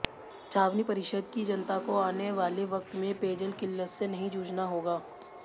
छावनी परिषद की जनता को आने वाले वक्त में पेयजल किल्लत से नहीं जूझना होगा